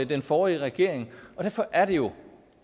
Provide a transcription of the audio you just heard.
den forrige regering og derfor er det jo